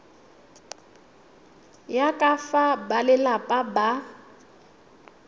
ya ka fa balelapa ba